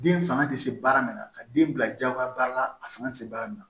Den fanga tɛ se baara min na ka den bila jagoya baara la a fanga tɛ se baara min na